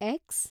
X